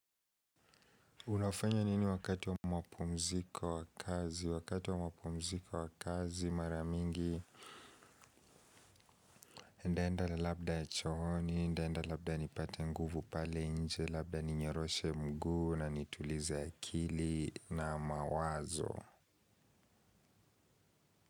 Unafanya nini wakati wa wa mapumziko wa kazi? Wakati wa wa mapumziko wa kazi maramingi nitaenda la labda ya chooni, nitaenda labda nipate nguvu pale nje. Labda ni nyeroshe mguu na nitulize akili na mawazo.